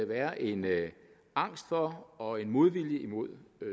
være en angst for og en modvilje imod